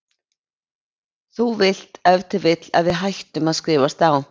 Þú vilt ef til vill að við hættum að skrifast á?